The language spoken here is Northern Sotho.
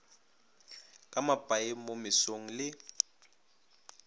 ka mapaeng mo mesong le